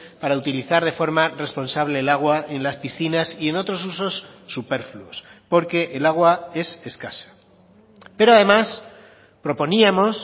para utilizar de forma responsable el agua en las piscinas y en otros usos superfluos porque el agua es escasa pero además proponíamos